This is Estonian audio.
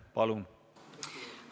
Palun!